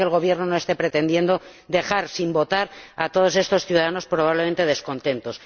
Espero que el Gobierno no esté pretendiendo dejar sin votar a todos estos ciudadanos, probablemente descontentos.